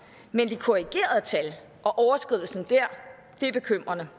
men de korrigerede tal og overskridelsen der er bekymrende